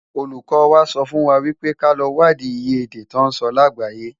Ólúkò wá sòfúnwá wipé ká lò wádi iyé èdè tò nsò lágbáyé